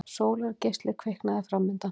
Sólargeisli kviknaði framundan.